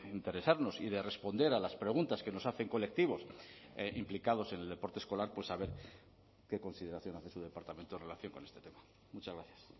interesarnos y de responder a las preguntas que nos hacen colectivos implicados en el deporte escolar pues a ver qué consideración hace su departamento en relación con este tema muchas gracias